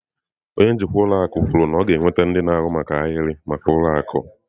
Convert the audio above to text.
Onye njikwa ụlọ akụ kwuru na ọ ga-enweta ndị na-ahụ maka ahịrị maka ụlọ akụ.